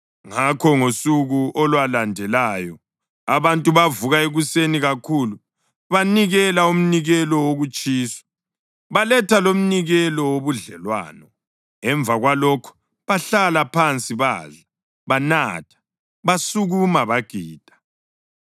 Ngakho ngosuku olwalandelayo abantu bavuka ekuseni kakhulu banikela umnikelo wokutshiswa, baletha lomnikelo wobudlelwano. Emva kwalokho bahlala phansi badla, banatha; basukuma bagida.